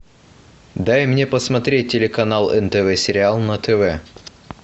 дай мне посмотреть телеканал нтв сериал на тв